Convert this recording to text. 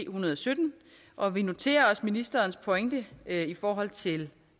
hundrede og sytten og vi noterer os ministerens pointe i forhold til